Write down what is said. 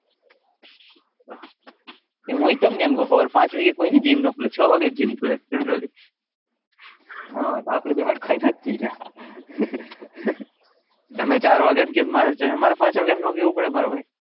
એમ હુએ તમને એમ કવ હવારેપાંચ વાગે કોઈની જિમ ના ખુલે છ વાગે જિમ ખુલે હમ આપડે બે હટ્ટ હરખાઈને જ છીએ તમે ચાર વાગે કી તો મારે પાંચ વાગ્યા નું નો કેઉં પડે મારા ભાઈ,